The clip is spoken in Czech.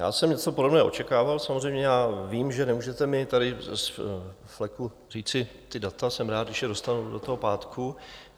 Já jsem něco podobného očekával, samozřejmě, já vím, že nemůžete mi tady z fleku říci ta data, jsem rád, když je dostanu do toho pátku.